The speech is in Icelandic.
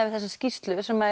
við þessa skýrslu sem